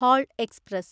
whole express